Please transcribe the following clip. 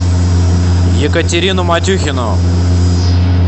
екатерину матюхину